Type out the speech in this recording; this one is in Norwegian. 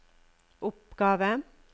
oppgave